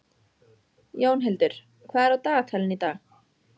Jónhildur, hvað er á dagatalinu í dag?